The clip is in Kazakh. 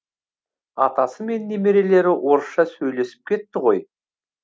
атасы мен немерелері орысша сөйлесіп кетті ғой